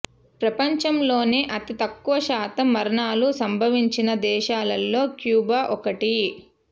ప్రపంచంలోనే అతి తక్కువ శాతం మరణాలు సంభవించిన దేశాలలో క్యూబా ఒకటి